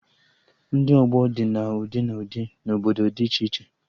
Ndị ọgbọ dị na ụdị na ụdị na obodo dị iche iche